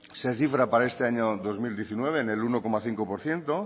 se cifra para este año dos mil diecinueve en el uno coma cinco por ciento